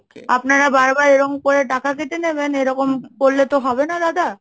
আপনারা বারবার এরকম করে টাকা কেটে নেবেন, এরকম করলে তো হবে না দাদা,